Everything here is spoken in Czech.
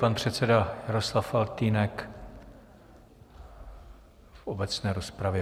Pan předseda Jaroslav Faltýnek v obecné rozpravě.